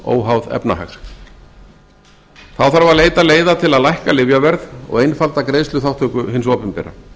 óháð efnahag þá þarf að leita leiða til að lækka lyfjaverð og einfalda greiðsluþátttöku hins opinbera